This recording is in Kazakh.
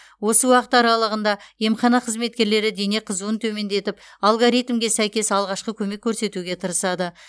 осы уақыт аралығында емхана қызметкерлері дене қызуын төмендетіп алгоритмге сәйкес алғашқы көмек көрсетуге тырысады